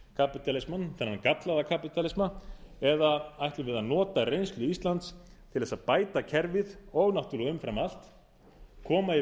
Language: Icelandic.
alheimskapítalismann þennan gallaða kapítalisma eða ætlum við að nota reynslu íslands til að bæta kerfið og náttúrlega umfram allt koma í